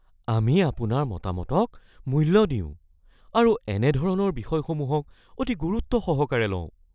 আমি আপোনাৰ মতামতক মূল্য দিওঁ আৰু এনেধৰণৰ বিষয়সমূহক অতি গুৰুত্বসহকাৰে লওঁ।